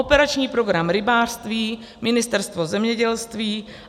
Operační program Rybářství, Ministerstvo zemědělství